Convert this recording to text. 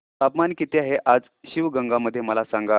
तापमान किती आहे आज शिवगंगा मध्ये मला सांगा